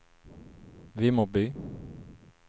Vimmerby